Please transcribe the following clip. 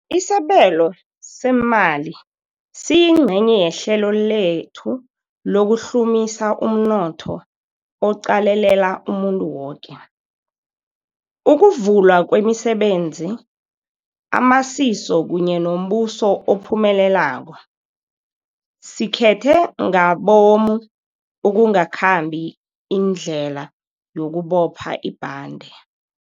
Isabelo seemali siyingcenye yehlelo lethu lokuhlumisa umnotho oqalelela umuntu woke, ukuvulwa kwemisebenzi, amasiso kunye nombuso ophumelelako. Sikhethe ngabomu ukungakhambi indlela yokubopha ibhande.